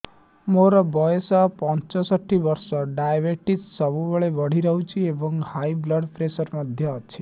ମୋର ବୟସ ପଞ୍ଚଷଠି ବର୍ଷ ଡାଏବେଟିସ ସବୁବେଳେ ବଢି ରହୁଛି ଏବଂ ହାଇ ବ୍ଲଡ଼ ପ୍ରେସର ମଧ୍ୟ ଅଛି